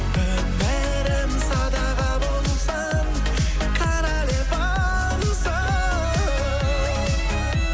өмірім садаға болсын королевамсың